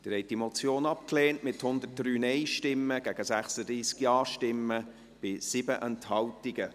Sie haben diese Motion abgelehnt, mit 103 Nein- gegen 36 Ja-Stimmen bei 7 Enthaltungen.